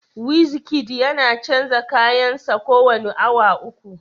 Wizkid yana canza kayan sa kowane awa uku